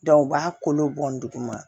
u b'a kolo bɔn duguma